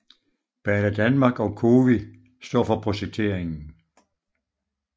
Banedanmark og COWI står for projekteringen